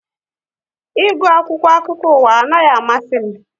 Ị gu akwụkwọ akụkọ ụwa anaghị amasị m